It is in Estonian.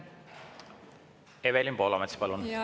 Evelin Poolamets, palun!